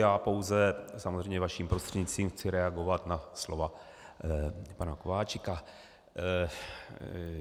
Já pouze, samozřejmě vaším prostřednictvím, chci reagovat na slova pana Kováčika.